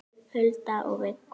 Hulda og Viggó.